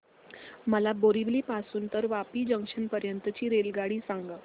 मला बोरिवली पासून तर वापी जंक्शन पर्यंत ची रेल्वेगाडी सांगा